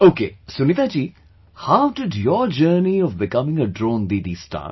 Okay Sunita ji, how did your journey of becoming a Drone Didi start